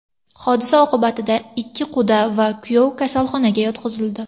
Hodisa oqibatida ikki quda va kuyov kasalxonaga yotqizildi.